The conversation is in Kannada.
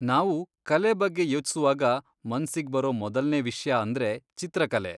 ನಾವು ಕಲೆ ಬಗ್ಗೆ ಯೋಚ್ಸುವಾಗ ಮನ್ಸಿಗ್ ಬರೋ ಮೊದಲ್ನೇ ವಿಷ್ಯ ಅಂದ್ರೆ ಚಿತ್ರಕಲೆ.